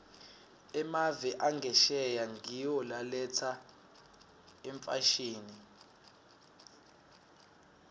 emave angesheya ngiwo laletsa imfashini